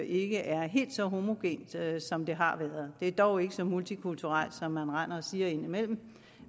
ikke er helt så homogent som det har været det er dog ikke så multikulturelt som man render og siger indimellem